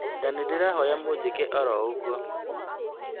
Na nĩ ndĩrahoya mũnjĩke oro ũguo